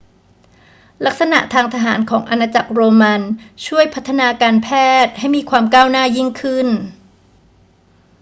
ลักษณะทางทหารของอาณาจักรโรมันช่วยพัฒนาการแพทย์ให้มีความก้าวหน้ายิ่งขึ้น